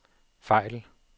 fejl